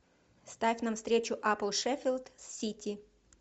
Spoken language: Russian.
ставь нам встречу апл шеффилд с сити